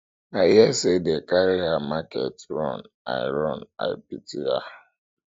i hear say dey carry her market run i run i pity her